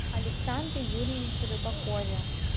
александре юрьевиче рыбакове